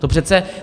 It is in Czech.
To přece...